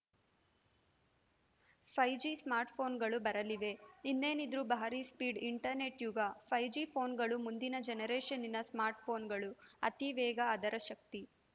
five G ಸ್ಮಾರ್ಟ್‌ಫೋನ್‌ಗಳು ಬರಲಿವೆ ಇನ್ನೇನಿದ್ರೂ ಭಾರಿ ಸ್ಪೀಡ್‌ ಇಂಟರ್‌ನೆಟ್‌ ಯುಗ ಫೈ ಜಿ ಫೋನ್‌ಗಳು ಮುಂದಿನ ಜನರೇಷನ್ನಿನ ಸ್ಮಾರ್ಟ್‌ಫೋನ್‌ಗಳು ಅತಿ ವೇಗ ಅದರ ಶಕ್ತಿ